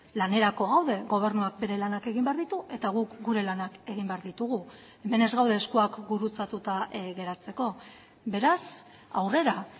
lanerako gaude gobernuak bere lanak egin behar ditu eta guk gure lanak egin behar ditugu hemen ez gaude eskuak gurutzatuta geratzeko beraz aurrera